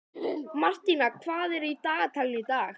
Martína, hvað er á dagatalinu í dag?